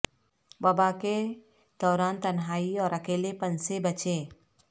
وبا کے دوران تنہائی اور اکیلے پن سے بچیں